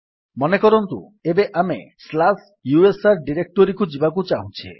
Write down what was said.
ମନେକରନ୍ତୁ ଏବେ ଆମେ ସ୍ଲାସ୍ ୟୁଏସଆର ଡିରେକ୍ଟୋରୀକୁ ଯିବାକୁ ଚାହୁଁଛେ